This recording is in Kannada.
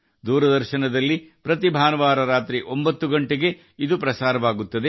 ದೂರದರ್ಶನದಲ್ಲಿ ಪ್ರತಿ ಭಾನುವಾರ ರಾತ್ರಿ 9 ಗಂಟೆಗೆ ಪ್ರಸಾರವಾಗುತ್ತದೆ